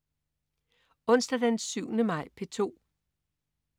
Onsdag den 7. maj - P2: